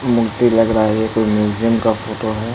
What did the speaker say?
मूर्ति लग रहा है ये कोइ म्यूजियम का फोटो है।